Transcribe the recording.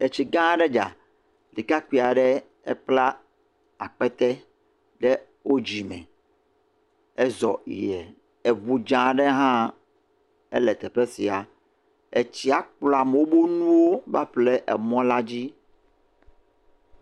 Etsi gã aɖe dza, ɖekakpui aɖe ebla akpete ɖe wo dzime ezɔ yie, eŋu dzɛ aɖe hã ele teƒe sia, etsia kplɔ amewo ƒe nuwo va ƒo ɖe mɔa dzi.